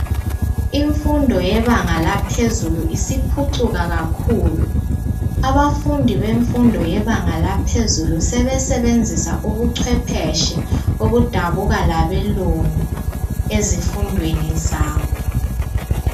Imfundo yebanga laphezulu isiphucuka kakhulu .Abafundi bemfundo yebanga laphezulu sebesebenzisa ubucwephetshe obudabuka labelungu ezifundweni zabo .